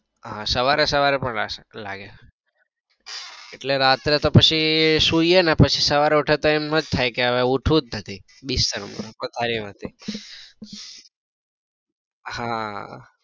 હા સવારે સવારે પણ લાગે એટલે રાત્રે તો પછી સુઈએ ને પછી તો એમ જ થાય કે હવે ઉઠવું જ નથી બેસી રહુ પથારી માંથી